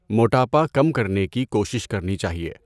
موٹاپا کم کرنے کی کوشش کرنی چاہیے۔